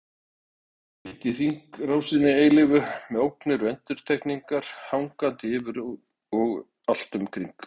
Afkomendur mitt í hringrásinni eilífu með ógnir endurtekningarinnar hangandi yfir og allt um kring.